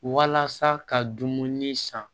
Walasa ka dumuni san